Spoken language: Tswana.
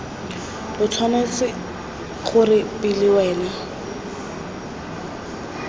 lo tshwanetse gore pele wena